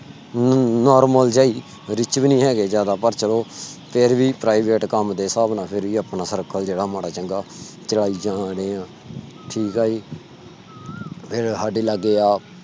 normal ਜੇਇ rich ਵੀ ਨਹੀਂ ਹੈਗੇ ਜ਼ਿਆਦਾ ਪਰ ਚਲੋ ਫਿਰ ਵੀ private ਕੰਮ ਦੇ ਹਿਸਾਬ ਨਾਲ ਫਿਰ ਵੀ ਆਪਣਾ circle ਜਿਹੜਾ ਮਾੜਾ ਚੰਗਾ ਚਲਾਇ ਜਾ ਰਹੇ ਆ ਠੀਕ ਹੈ ਜੀ ਅਹ ਸਾਡੇ ਲਾਗੇ ਆ।